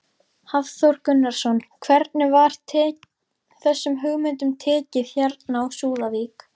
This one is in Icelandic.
Hafþór Gunnarsson: Hvernig var þessum hugmyndum tekið hérna á Súðavík?